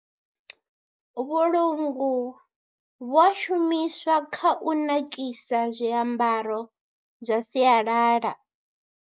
Vhulungu vhu a shumiswa kha u nakisa zwiambaro zwa sialala.